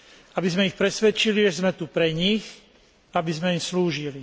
Aby sme ich presvedčili, že sme tu pre nich, aby sme im slúžili.